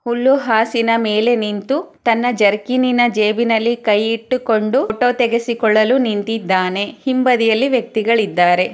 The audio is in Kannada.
ಹುಲ್ಲು ಹಾಸಿನ ಮೇಲೆ ನಿಂತು ತನ್ನ ಜರ್ಕಿನಿ ನ ಜೇಬಿನಲ್ಲಿ ಕೈ ಇಟ್ಟುಕೊಂಡು ಫೋಟೋ ತೆಗೆಸಿಕೊಳ್ಳಲು ನಿಂತಿದ್ದಾನೆ ಹಿಂಬದಿಯಲಿ ವ್ಯಕ್ತಿಗಳಿದ್ದಾರೆ.